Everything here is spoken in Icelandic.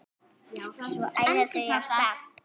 Svo æða þau af stað.